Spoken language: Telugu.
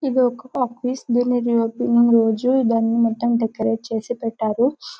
ఇది ఒక ఆఫీస్ దీని రి ఓపెన్ రోజు దాన్ని మొత్తం డెకరేట్ చేసి పెట్టారు